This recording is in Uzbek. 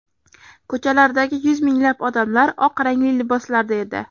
Ko‘chalardagi yuz minglab odamlar oq rangli liboslarda edi.